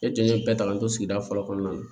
E jɛn ye bɛɛ ta k'an to sigida fɔlɔ kɔnɔna na